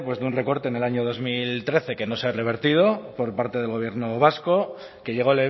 de un recorte en el año dos mil trece que no se ha revertido por parte del gobierno vasco que llegó